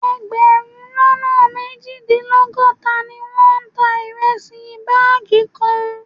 Ẹgbẹ̀rún lọ́nà méjìdínlọ́gọ́ta ni wọ́n ta ìrẹsì báàgì kan